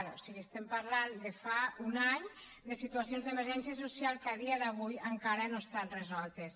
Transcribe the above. o sigui estem parlant de fa un any de situacions d’emergència social que a dia d’avui encara no estan resoltes